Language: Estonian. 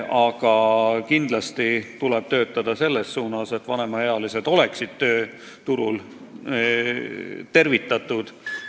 Ning kindlasti tuleb töötada selles suunas, et vanemaealised oleksid tööturul tervitatud.